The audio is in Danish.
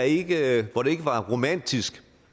ikke var romantisk